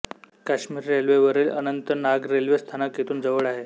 काश्मीर रेल्वेवरील अनंतनाग रेल्वे स्थानक येथून जवळ आहे